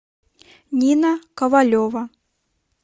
нина ковалева